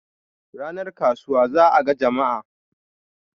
ranar kasuwa za a ga Jama'a